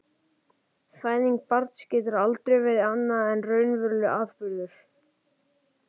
Fæðing barns getur aldrei verið annað en raunverulegur atburður.